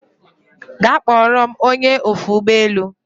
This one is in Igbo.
Gaa kpọrọ m ony! e ofe ụgbọ elu